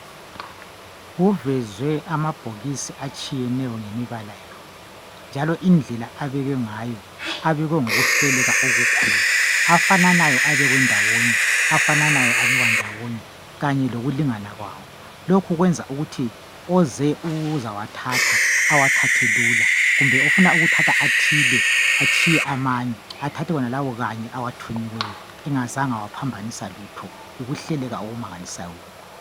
Kuvezwe amabhokisi atshiyeneyo ngemibala yawo, njalo indlela abekwe ngayo. Abekwe ngokuhleleka okukhulu. Afananayo abekwe ndawonye, afananayo abekwa ndawonye, kanye lokulingana kwawo. Lokhu kwenza ukuthi oze ukuzawathatha awathathe lula. Loba ofuna ukuthatha athile, atshiye amanye. Enze njalo. Engazanga waphambanisa lutho, Yikuhleleka okumangalisayo lokhu.